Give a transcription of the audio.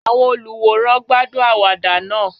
Àwọn olùwòran gbádùn àwàdà náà.